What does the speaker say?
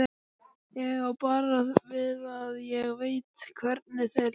Ég á bara við að ég veit hvernig þér leið.